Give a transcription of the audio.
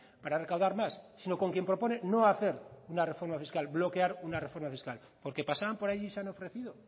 para recaudar más sino con quien propone no hacer una reforma fiscal bloquear un reforma fiscal por qué pasaban por allí y se han ofrecido